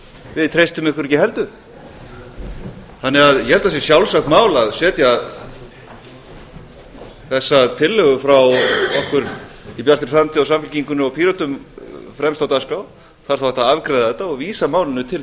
við treystum ykkur ekki heldur ég held að það sé sjálfsagt mál að setja þessa tillögu frá okkur í bjartri framtíð og samfylkingunni og pírötum fremst á dagskrá það er þá hægt að afgreiða þetta og vísa málinu til